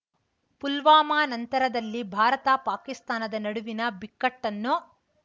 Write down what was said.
ಪುಲ್ವಾಮಾ ನಂತರದಲ್ಲಿ ಭಾರತ ಪಾಕಿಸ್ತಾನದ ನಡುವಿನ ಬಿಕ್ಕಟ್ಟನ್ನು